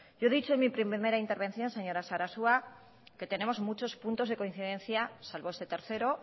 yo he dicho en mi primera intervención señora sarasua que tenemos muchos puntos de coincidencia salvo este tercero